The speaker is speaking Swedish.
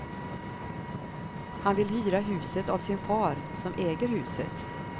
Han vill hyra huset av sin far, som äger huset.